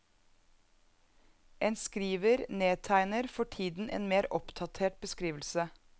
En skriver nedtegner for tiden en mer oppdatert beskrivelse.